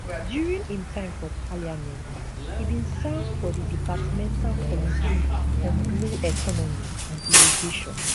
during im time for parliament e bin serve for di departmental committee on blue economy and irrigation